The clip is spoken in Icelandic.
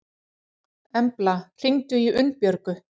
Embla, hringdu í Unnbjörgu.